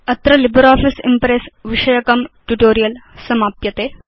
अत्र LibreOffice Impress विषयकं tutorial समाप्यते